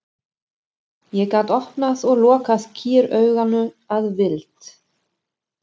Ég gat opnað og lokað kýrauganu að vild.